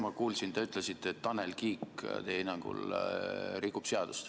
Ma kuulsin, te ütlesite, et Tanel Kiik teie hinnangul rikub seadust.